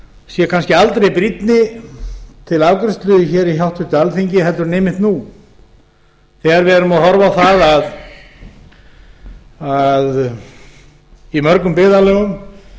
sé kannski aldrei brýnni til afgreiðslu í háttvirtu alþingi heldur en einmitt nú þegar við erum að horfa á það að í mörgum byggðarlögum